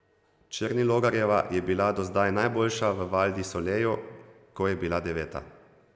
Černilogarjeva je bila do zdaj najboljša v Val di Soleju, ko je bila deveta.